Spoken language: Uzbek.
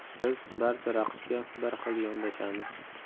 Biz barcha raqibga bir xil yondoshamiz.